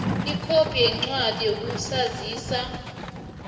ikhophi yencwadi yokuzazisa